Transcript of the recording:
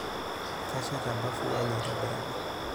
Kesheta bafu enye aitobiraki.